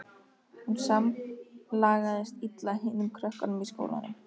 Hún samlagaðist illa hinum krökkunum í skólanum.